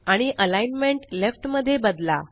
आणि alignment left मध्ये बदला